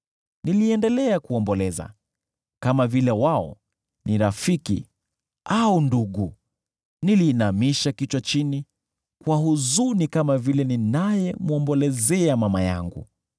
niliendelea kuomboleza kama vile wao ni rafiki au ndugu. Niliinamisha kichwa chini kwa huzuni kama ninayemwombolezea mama yangu.